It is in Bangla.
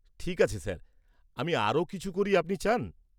ঠিক আছে স্যার, আমি আরও কিছু করি, আপনি চান?